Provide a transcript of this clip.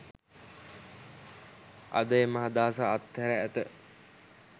අද එම අදහස අත්හැර ඇත